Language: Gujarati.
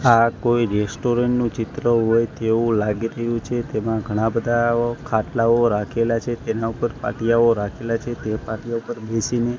આ કોઈ રેસ્ટોરન્ટ નું ચિત્ર હોય તેવું લાગી રહ્યું છે તેમાં ઘણા બધા ખાટલાઓ રાખેલા છે તેના ઉપર પાટિયાઓ રાખેલા છે તે પાટીયા ઉપર બેસીને--